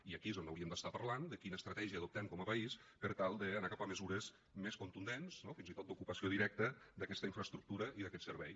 i aquí és on hauríem d’estar parlant de quina estratègia adoptem com a país per tal d’anar cap a mesures més contundents no fins i tot d’ocupació directa d’aquesta infraestructura i d’aquest servei